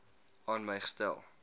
aan my gestel